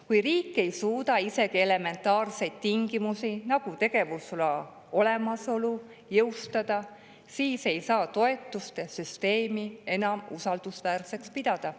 Kui riik ei suuda isegi elementaarseid tingimusi, nagu tegevusloa olemasolu, jõustada, siis ei saa toetuste süsteemi enam usaldusväärseks pidada.